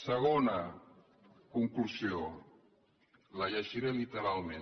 segona conclusió la llegiré literalment